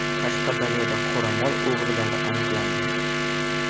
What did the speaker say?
Qashqadaryoda qoramol o‘g‘rilari aniqlandi.